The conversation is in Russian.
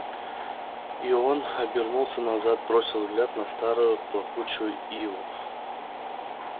и он обернулся назад бросил взгляд на старую плакучую иву